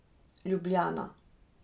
Ljubljana.